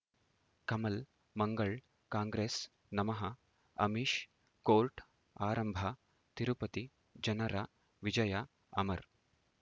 ಕಮಲ್ ಮಂಗಳ್ ಕಾಂಗ್ರೆಸ್ ನಮಃ ಅಮಿಷ್ ಕೋರ್ಟ್ ಆರಂಭ ತಿರುಪತಿ ಜನರ ವಿಜಯ ಅಮರ್